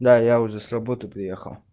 да я уже с работы приехал